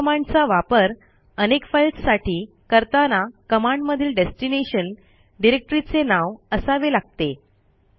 MV कमांडचा वापर अनेक फाईल्स साठी करताना कमांडमधील डेस्टिनेशन डिरेक्टरीचे नाव असावे लागते